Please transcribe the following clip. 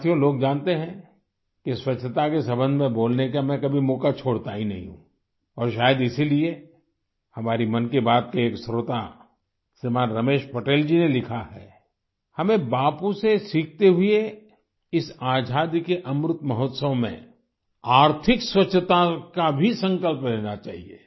साथियो लोग जानते हैं कि स्वच्छता के सम्बन्ध में बोलने का मैं कभी मौका छोड़ता ही नहीं हूँ और शायद इसीलिए हमारे मन की बात के एक श्रोता श्रीमान रमेश पटेल जी ने लिखा हमें बापू से सीखते हुए इस आजादी के अमृत महोत्सव में आर्थिक स्वच्छता का भी संकल्प लेना चाहिए